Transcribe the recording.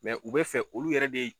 u bɛ fɛ olu yɛrɛ de